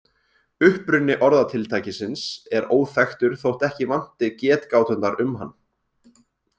Uppruni orðatiltækisins er óþekktur þótt ekki vanti getgáturnar um hann.